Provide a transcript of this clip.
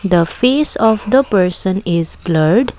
the face of the person is blurred.